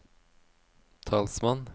talsmann